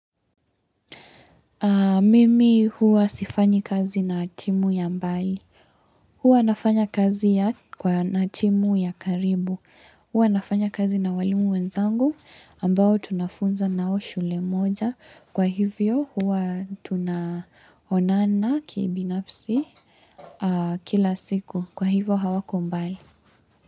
Mimi huwa sifanyi kazi na timu ya mbali. Huwa nafanya kazi na timu ya karibu. Huwa nafanya kazi na walimu wenzangu ambao tunafunza na wao shule moja. Kwa hivyo huwa tunaonana kiibinafsi kila siku. Kwa hivyo hawako mbali.